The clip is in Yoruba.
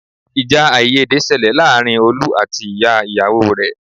Ìjà àìyédè ṣẹlẹ̀ láàárín Olú àti ìyá ìyàwó rẹ̀.